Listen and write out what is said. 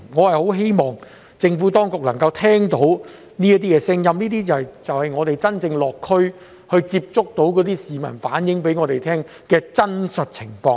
我很希望政府當局能夠聆聽這些聲音，這就是我們落區接觸市民時，他們向我們所反映的真實情況。